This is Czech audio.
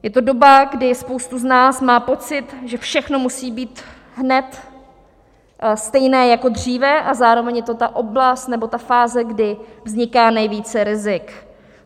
Je to doba, kdy spousta z nás má pocit, že všechno musí být hned stejné jako dříve, a zároveň je to ta oblast nebo ta fáze, kdy vzniká nejvíce rizik.